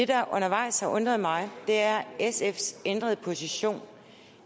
der undervejs har undret mig er sfs ændrede position